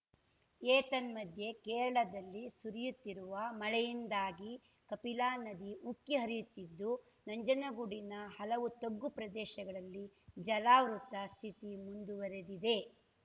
ಏತನ್ಮಧ್ಯೆ ಕೇರಳದಲ್ಲಿ ಸುರಿಯುತ್ತಿರುವ ಮಳೆಯಿಂದಾಗಿ ಕಪಿಲಾ ನದಿ ಉಕ್ಕಿ ಹರಿಯುತ್ತಿದ್ದು ನಂಜನಗೂಡಿನ ಹಲವು ತಗ್ಗುಪ್ರದೇಶಗಳಲ್ಲಿ ಜಲಾವೃತ ಸ್ಥಿತಿ ಮುಂದುವರಿದಿದೆ